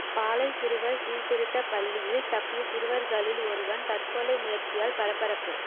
பாளை சிறுவர் சீர்திருத்த பள்ளியில் தப்பிய சிறுவர்களில் ஒருவன் தற்கொலை முயற்சியால் பரபரப்பு